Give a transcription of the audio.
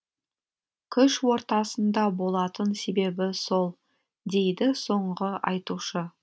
күш ортасында болатын себебі сол дейді соңғы айтушы